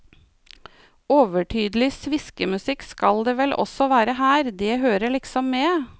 Overtydelig sviskemusikk skal det vel også være her, det hører liksom med.